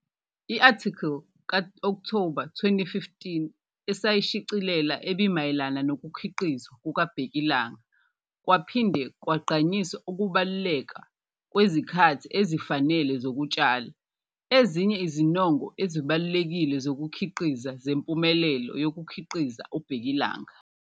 I-athikhili ka-Okthoba 2015 esayishicilela ebimayelana nokukhiqizwa kukabhekilanga kwaphinde kwagqanyiswa ukubaluleka kwezikhathi ezifanele zokutshala. Ezinye izinongo ezibalulekile zokukhiqiza zempumelelo yokukhiqiza ubhekilanga u-.